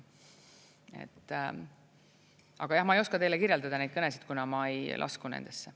Aga jah, ma ei oska teile kirjeldada neid kõnesid, kuna ma ei lasku nendesse.